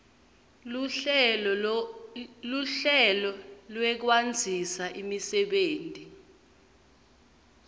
luhlelo lwekwandzisa imisebenti